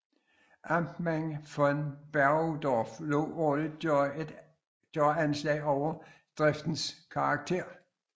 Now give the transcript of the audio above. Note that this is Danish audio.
Amtmand von Bergedorf lod årligt gøre anslag over driftens karakter